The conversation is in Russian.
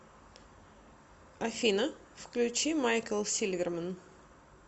афина включи майкл сильверман